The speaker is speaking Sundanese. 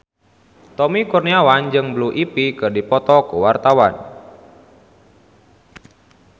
Tommy Kurniawan jeung Blue Ivy keur dipoto ku wartawan